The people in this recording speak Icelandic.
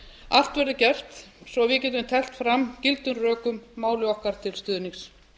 allt verður gert svo við getum teflt fram gildum rökum máli okkar til stuðnings